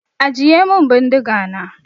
Ajiye min bindiga na!